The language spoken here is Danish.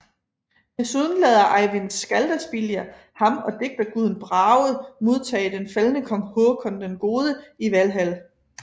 Desuden lader Eyvind Skaldaspillir ham og digterguden Brage modtage den faldne kong Håkon den Gode i Valhal